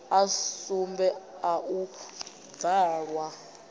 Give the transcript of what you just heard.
a sumbe a u bvalwa